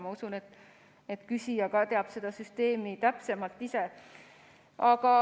Ma usun, et küsija teab seda süsteemi täpsemalt ise.